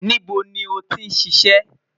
Nibo ni o ti ṣiṣẹ?